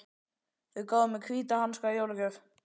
Þau gáfu mér hvíta hanska í jólagjöf.